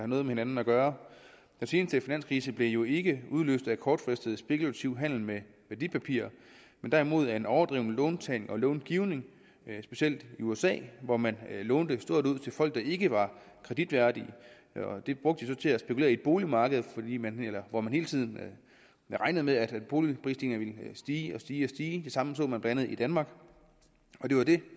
med hinanden at gøre den seneste finanskrise blev jo ikke udløst af kortfristet spekulativ handel med værdipapirer men derimod af en overdreven låntagning og långivning specielt i usa hvor man lånte stort ud til folk der ikke var kreditværdige det brugte de så til at spekulere i boligmarkedet hvor man hele tiden regnede med at boligpriserne ville stige og stige de samme så man blandt andet i danmark og det var det